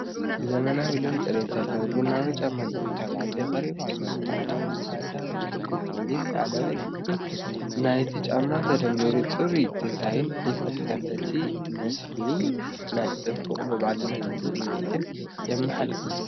ዘመናውን ልዑል ጽሬት ዘለዎን ቡናዊ ጫማ ደቂ ተባዕትዮ ተቀሪቡ ኣሎ። ጻዕዳ ታሕተዋይ ክፋልን ጸሊም ላዕለዋይ ክፋልን ናይቲ ጫማ ተደሚሩ ጽሩይን ዲዛይን ይፈጥር። እቲ ምስሊ ናይ ጽባቐን ምዕቡልነትን ስምዒት የመሓላልፍ።